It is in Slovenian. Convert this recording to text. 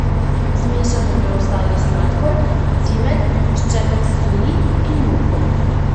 Zmešamo preostali sladkor, cimet, ščepec soli in moko.